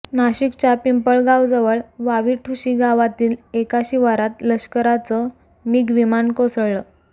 नाशिकच्या पिंपळगावजवळ वावीठुशी गावातील एका शिवारात लष्कराचं मिग विमान कोसळलं